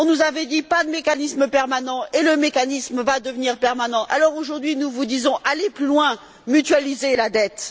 On nous avait dit pas de mécanisme permanent, et le mécanisme va devenir permanent. Alors aujourd'hui, nous vous disons Allez plus loin, mutualisez la dette.